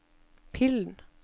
pillen